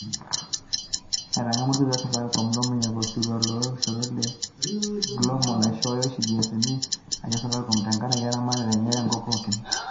Etangamwa olkitok le safaricom Lomunyak osirua loo kishorot e GLOMO naishooyo oshi GSMA aisho safaricom tenkaraki eramatare enye tenkop pooki